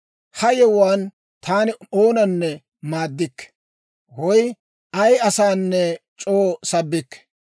Ha yewuwaan taani oonanne maaddikke, woy ay asanne c'oo sabbikke.